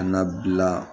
Ka na bila